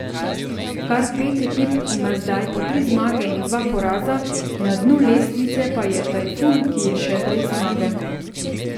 Kar pet ekip ima zdaj po tri zmage in dva poraza, na dnu lestvice pa je Tajfun, ki je še brez zmage.